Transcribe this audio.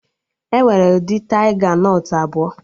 Enwere ụdị taiga nọt abụọ